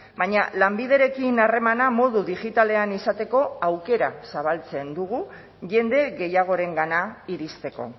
baina lanbiderekin harremana modu digitalean izateko aukera zabaltzen dugu jende gehiagorengana iristeko